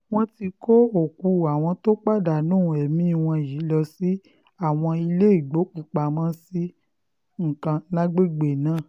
wọ́n ti kó òkú àwọn tó pàdánù ẹ̀mí wọn yìí lọ sí àwọn iléégbòkúù-pamọ́-sí kan lágbègbè náà